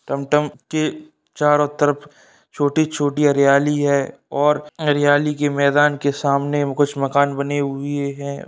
Tom टॉम के चारो तरफ छोटी छोटी हरियाली है और हरियाली के मैदान के सामने कुछ मकान बने हुए हैं।